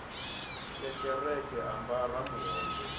ya kereke a ambara muhoyo